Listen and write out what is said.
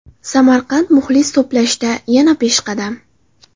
Samarqand muxlis to‘plashda yana peshqadam.